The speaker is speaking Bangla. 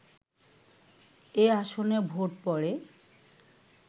এ আসনে ভোট পড়ে